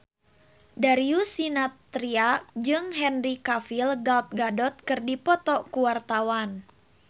Darius Sinathrya jeung Henry Cavill Gal Gadot keur dipoto ku wartawan